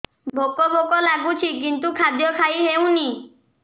ଭୋକ ଭୋକ ଲାଗୁଛି କିନ୍ତୁ ଖାଦ୍ୟ ଖାଇ ହେଉନି